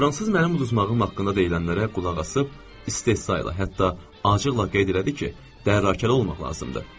Fransız mənim uduzmağım haqqında deyilənlərə qulaq asıb istehzayla, hətta acıqla qeyd elədi ki, bərrakəli olmaq lazımdır.